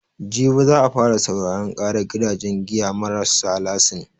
Jibi za a fara sauraran ƙarar gidajen giya marassa lasin.